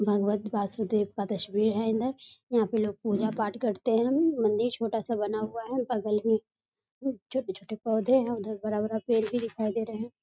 भगवत वासुदेव का तस्वीर है अन्दर यहाँ पे लोग पूजा पाठ करते हैं मंदिर छोटा सा बना हुआ है बगल में छोटे-छोटे पौधे हैं उधर बड़ा-बड़ा पेड़ भी दिखाई दे रहे हैं।